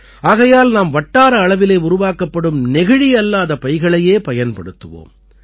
ஆகையால் நாம் வட்டார அளவிலே உருவாக்கப்படும் நெகிழியல்லாத பைகளையே பயன்படுத்துவோம்